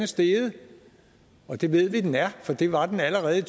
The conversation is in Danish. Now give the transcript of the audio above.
steget og det ved vi den er for det var den allerede i